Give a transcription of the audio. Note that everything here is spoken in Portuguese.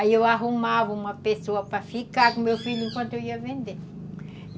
Aí eu arrumava uma pessoa para ficar com o meu filho enquanto eu ia vender.